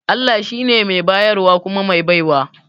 Allah shi ne mai bayarwa kuma mai baiwa